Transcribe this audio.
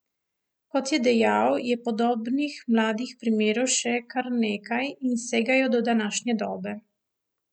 Kot je dejal, je podobnih mlajših primerov še kar nekaj in segajo do današnje dobe.